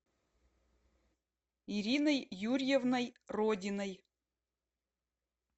ириной юрьевной родиной